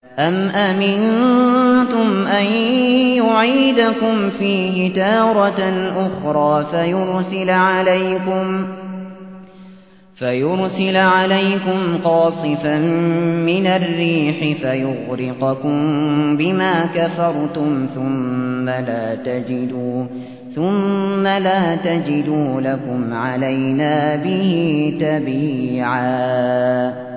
أَمْ أَمِنتُمْ أَن يُعِيدَكُمْ فِيهِ تَارَةً أُخْرَىٰ فَيُرْسِلَ عَلَيْكُمْ قَاصِفًا مِّنَ الرِّيحِ فَيُغْرِقَكُم بِمَا كَفَرْتُمْ ۙ ثُمَّ لَا تَجِدُوا لَكُمْ عَلَيْنَا بِهِ تَبِيعًا